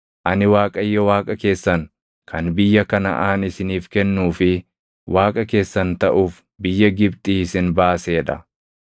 Ani Waaqayyo Waaqa keessan kan biyya Kanaʼaan isiniif kennuu fi Waaqa keessan taʼuuf biyya Gibxii isin baasee dha.